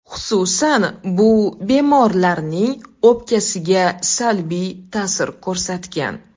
Xususan, bu bemorlarning o‘pkasiga salbiy ta’sir ko‘rsatgan.